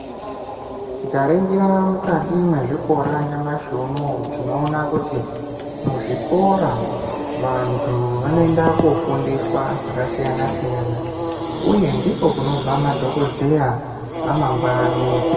Tikaringira mukati mwezvikora nyamashi unoowu tinoona kuti muzvikora vantu vanoenda kofundiswa zvakasiyana siyana uye ndiko kunobva madhokoteya amangwani.